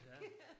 Ja